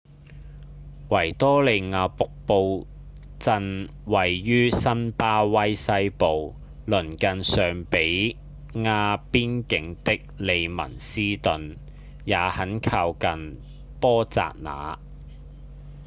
維多利亞瀑布鎮位在辛巴威西部鄰近尚比亞邊境的利文斯頓也很靠近波札那